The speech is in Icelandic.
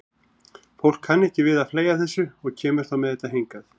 Fólk kann ekki við að fleygja þessu og kemur þá með þetta hingað.